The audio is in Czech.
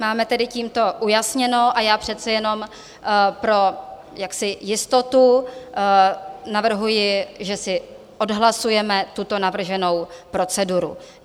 Máme tedy tímto ujasněno a já přece jenom pro jistotu navrhuji, že si odhlasujeme tuto navrženou proceduru.